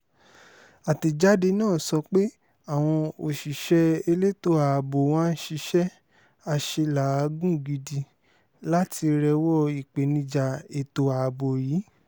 àtẹ̀jáde náà sọ pé àwọn òṣìṣẹ́ elétò ààbò wá ń ṣiṣẹ́ àṣelàágùn gidi láti rẹ́wọ́ ìpèníjà ètò ààbò yìí